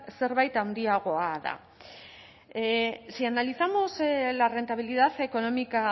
zerbait handiagoa da si analizamos la rentabilidad económica